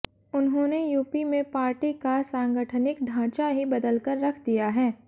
उन्होंने यूपी में पार्टी का सांगठनिक ढांचा ही बदलकर रख दिया है